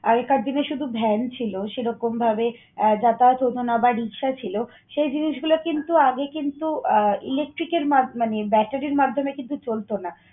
আগেকার দিনে শুধু ভ্যান ছিল। সেরকম ভাবে যাতায়াত হত না বা রিক্সা ছিল, সেই জিনিসগুলো কিন্তু আগে কিন্তু আহ ইলেকট্রিকের মাধ্যমে মানে battery র মাধ্যমে কিন্তু চলতো না।